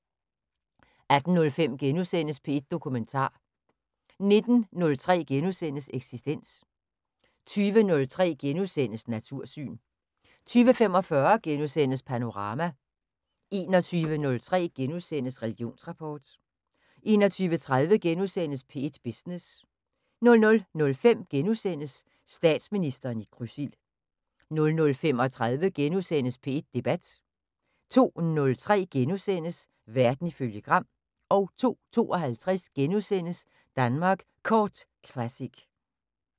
18:05: P1 Dokumentar * 19:03: Eksistens * 20:03: Natursyn * 20:45: Panorama * 21:03: Religionsrapport * 21:30: P1 Business * 00:05: Statsministeren i krydsild * 00:35: P1 Debat * 02:03: Verden ifølge Gram * 02:52: Danmark Kort Classic *